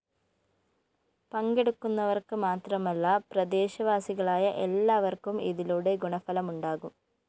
പങ്കെടുക്കുന്നവര്‍ക്ക് മാത്രമല്ല പ്രദേശവാസികളായ എല്ലാര്‍ക്കും ഇതിലൂടെ ഗുണഫലമുണ്ടാകും